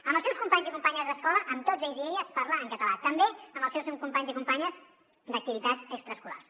amb els seus companys i companyes d’escola amb tots ells i elles parla en català també amb els seus companys i companyes d’activitats extraescolars